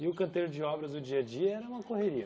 E o canteiro de obras no dia a dia era uma correria?